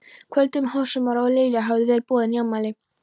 kvöldi um hásumar og Lilja hafði verið boðin í afmæli.